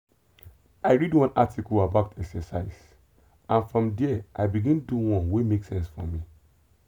i read one article about exercise and from there i begin do one wey make sense for me.